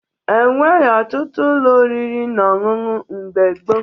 E nweghi ọtụtụ ụlọ oriri na ọṅụṅụ mgbe gboo